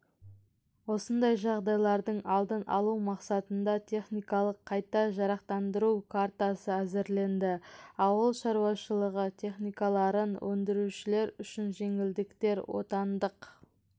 осындай жағдайлардың алдын-алу мақсатында техникалық қайта жарақтандыру картасы әзірленді ауыл шаруашылығы техникаларын өндірушілер үшін жеңілдіктер отандық